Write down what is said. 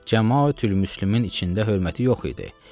Cəmaətül-Müslümin içində hörməti yox idi.